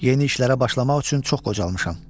Yeni işlərə başlamaq üçün çox qocalmışam.